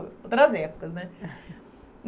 Outras épocas, né?